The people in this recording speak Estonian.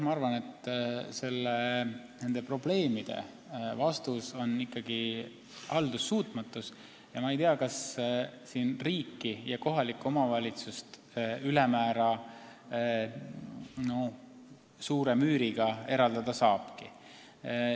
Ma arvan, et nende probleemide taga on ikkagi haldussuutmatus, ja ma ei tea, kas riiki ja kohalikku omavalitsust ülemäära suure müüriga eraldada saabki.